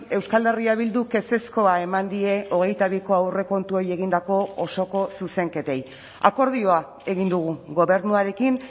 euskal herria bilduk ezezkoa eman die hogeita biko aurrekontuei egindako osoko zuzenketei akordioa egin dugu gobernuarekin